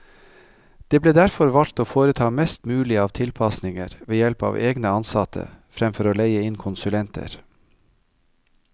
Det ble derfor valgt å foreta mest mulig av tilpasninger ved help av egne ansatte, fremfor å leie inn konsulenter.